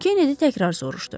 Kenedi təkrar soruşdu.